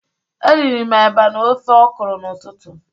Eriri m eba na ofe ọkụrụ n'ututu.